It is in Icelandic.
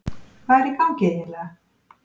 Hvað er í gangi eiginlega?